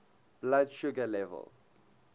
blood sugar level